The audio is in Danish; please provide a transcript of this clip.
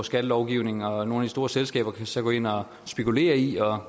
skattelovgivningen og at nogle store selskaber så gå ind og spekulere